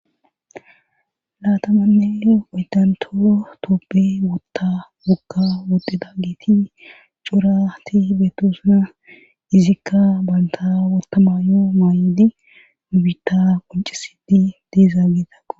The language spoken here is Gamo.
Laatamanne oydanto toopbe wotta wokka wodida giiti curati beettosuna izikka banta wotamayo maa'idi ubita qoncisidi deezaa gitaqo